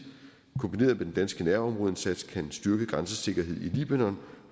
kombineret med den danske nærområdeindsats kan en styrket grænsesikkerhed i libanon